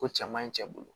Ko cɛman in cɛ bolo